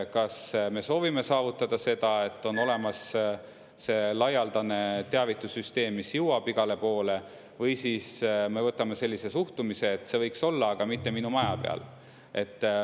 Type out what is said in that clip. Kas me soovime saavutada seda, et on olemas laialdane teavitussüsteem, mis jõuab igale poole, või siis me võtame sellise suhtumise, et see võiks olla, aga mitte minu maja peale.